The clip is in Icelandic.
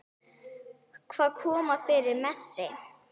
Hvað kom fyrir Messi?